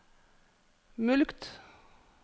mulkt